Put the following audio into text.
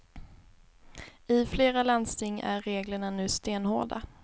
I flera landsting är reglerna nu stenhårda.